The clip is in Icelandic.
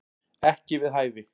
Ekki við hæfi